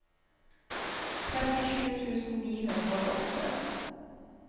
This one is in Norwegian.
trettisju tusen ni hundre og åtte